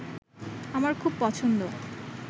আমার খুব পছন্দ